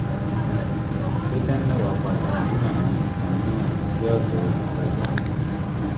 O dá mẹ́wàá padà nínú àwọn nǹkàn náà sì ọ̀dọ̀ olùtájà.